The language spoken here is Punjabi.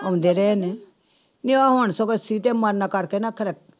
ਆਉਂਦੇ ਰਹੇ ਨੇ, ਨੀ ਹੁਣ ਸਗੋਂ ਸੀਤੇ ਮਰਨਾ ਕਰਕੇ ਨਾ ਫਿਰ